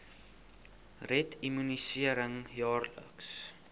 red immunisering jaarliks